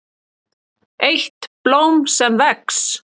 EITT BLÓM SEM VEX